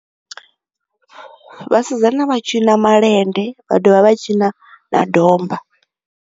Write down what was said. Vhasidzana vha tshina malende, vha dovha vha tshina na domba.